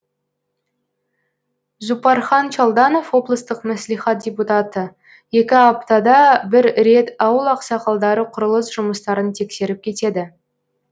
зуппархан чалданов облыстық мәслихат депутаты екі аптада бір рет ауыл ақсақалдары құрылыс жұмыстарын тексеріп кетеді